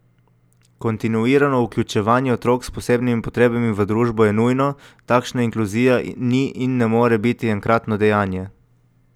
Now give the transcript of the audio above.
Kontinuirano vključevanje otrok s posebnimi potrebami v družbo je nujno, takšna inkluzija ni in ne more biti enkratno dejanje.